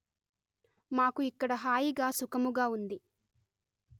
మాకు ఇక్కడ హాయిగా సుఖముగా ఉంది